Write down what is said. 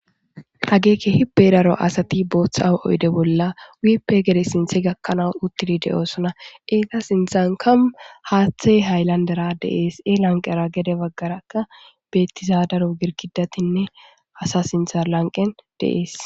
Hageeke hibberaro asati booththa aw7oyde bolla wiippe gede sinthe gakkanaas uttidi de7oosona eega sinthan kam haaththe hayllandera deees e lanqera gede baggarakka beettizaadaro girkidatinne hasa sintha lanqen deees